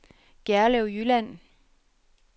Gjerlev Jylland